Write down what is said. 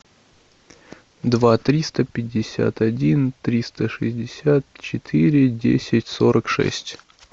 два триста пятьдесят один триста шестьдесят четыре десять сорок шесть